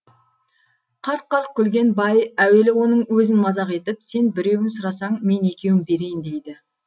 қарқ қарқ күлген бай әуелі оның өзін мазақ етіп сен біреуін сұрасаң мен екеуін берейін дейді